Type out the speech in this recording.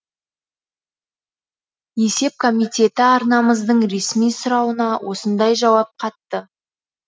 есеп комитеті арнамыздың ресми сұрауына осындай жауап қатты